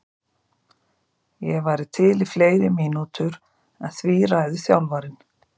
Ég væri til í fleiri mínútur en því ræður þjálfarinn.